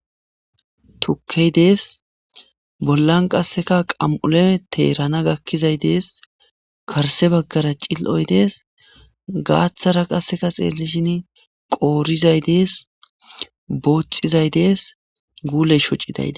Tukkey dees bollan qasseka qam'ule teerana gakkizay dees karse baggara cil'oy dees gaaththara qasseka xeelishin qoorizay dees boothxizay dees guuleshocidayde